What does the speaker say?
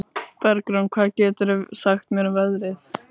Bergrún, hvað geturðu sagt mér um veðrið?